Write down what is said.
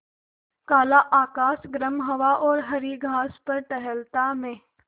काला आकाश गर्म हवा और हरी घास पर टहलता मैं